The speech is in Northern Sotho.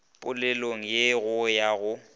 polelong ye go ya go